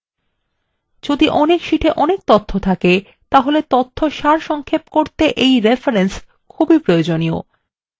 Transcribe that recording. যদি অনেক শীটে অনেক তথ্য থাকে তাহলে তথ্য সারসংক্ষেপ করতে রেফরেন্স খুব প্রয়োজনীয়